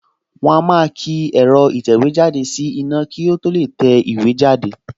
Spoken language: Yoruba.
Wọ́n á máa ki ẹ̀rọ ìtẹ̀wéjáde sí iná kí ó tó lè tẹ̀wé jáde